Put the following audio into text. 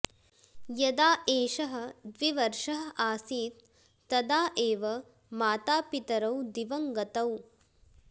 यदा एषः द्विवर्षः आसीत् तदा एव मातापितरौ दिवङ्गतौ